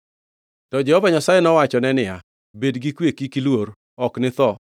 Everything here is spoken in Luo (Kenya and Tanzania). To Jehova Nyasaye nowachone niya, “Bed gi kwe! Kik iluor. Ok nitho.”